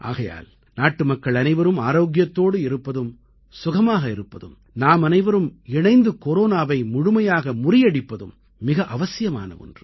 ஆகையால் நாட்டுமக்கள் அனைவரும் ஆரோக்கியத்தோடு இருப்பதும் சுகமாக இருப்பதும் நாமனைவரும் இணைந்து கொரோனாவை முழுமையாக முறியடிப்பதும் மிக அவசியமான ஒன்று